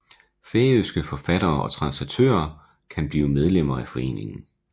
Færøske forfattere og translatører kan blive medlemmer af foreningen